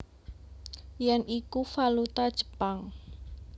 Yen iku valuta Jepang